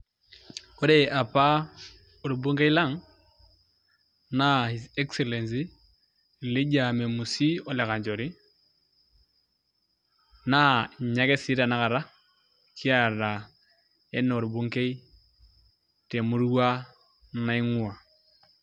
Ore apa orbungei lang' naa His excellency Elijah Memusi Ole Kanchori naa inye ake sii tanakata kiata enaa orbungei temurua naing'uaa.